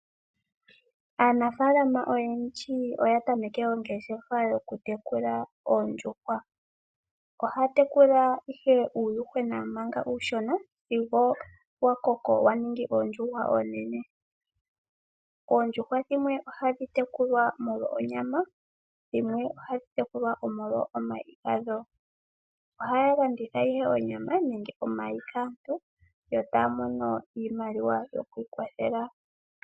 Aanafalama oyendji oya tameke ongeshefa yoku tekula oondjuhwa. Ohaya tekula ihe uuyuhwena manga uushona sigo wa koko wa ningi oondjuhwa oonene. Oondjuhwa dhimwe ohadhi tekulwa molwo onyama dhimwe ohadhi tekulwa omolwo omayi gadho. Oha ya landithe ihe onyama nenge omayi kaantu yo taa mono iimaliwa yoku ikwathela.